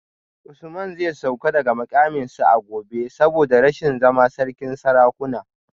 Usman zai sauka daga mukaminsa a gobe saboda rashin zama sarkin sarakuna